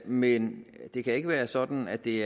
men det kan ikke være sådan at det